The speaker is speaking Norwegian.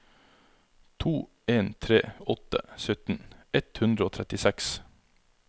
to en tre åtte sytten ett hundre og trettiseks